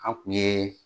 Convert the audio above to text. An kun ye